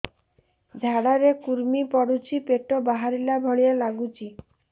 ଝାଡା ରେ କୁର୍ମି ପଡୁଛି ପେଟ ବାହାରିଲା ଭଳିଆ ଲାଗୁଚି